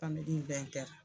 .